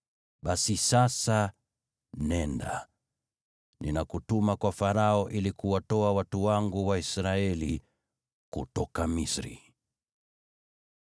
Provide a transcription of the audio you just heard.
Basi, sasa nenda. Ninakutuma kwa Farao ili kuwatoa watu wangu Waisraeli kutoka Misri.”